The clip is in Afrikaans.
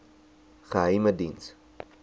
geheimediens